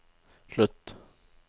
slutt